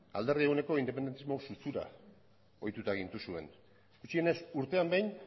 alderdi eguneko independentismo ohituta gintuzuen gutxienez urtean behin